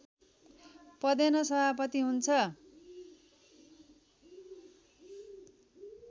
पदेन सभापति हुन्छ